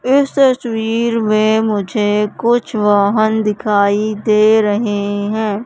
इस तस्वीर में मुझे कुछ वाहन दिखाई दे रहे हैं।